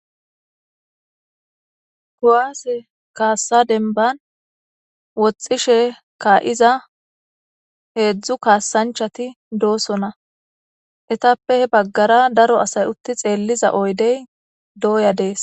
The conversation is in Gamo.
kowaase kaassa denban woxxishe kaa7iza heedzdzu kaassanchati doosona etappe he baggara daro asay utti xeelliza oydey dooya dees